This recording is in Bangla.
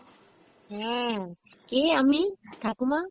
হ্যাঁ, কে আমি, ঠাকুমা?